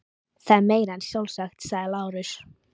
Það er meira en sjálfsagt, sagði Lárus.